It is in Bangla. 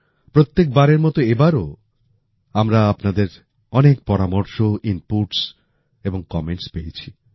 প্রত্যেক বারের মতো এবারও আমরা আপনাদের অনেক পরামর্শ ইনপুটস এবং কমেন্টস পেয়েছি